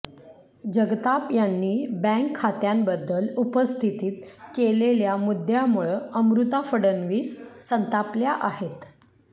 जगताप यांनी बँक खात्यांबद्दल उपस्थित केलेल्या मुद्द्यामुळं अमृता फडणवीस संतापल्या आहेत